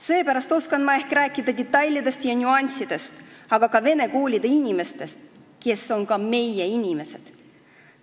Seepärast oskan ma ehk rääkida detailidest ja nüanssidest, aga ka vene koolide inimestest, kes on ka meie inimesed.